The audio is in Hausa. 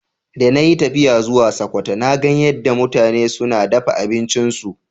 De na yi tafiya zuwa Sokoto, na gan yadda mutanen suna dafan abincin su.